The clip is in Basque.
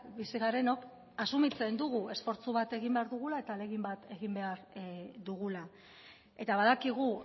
bizi garenok asumitzen dugu esfortzu bat egin behar dugula eta ahalegin bat egin behar dugula eta badakigu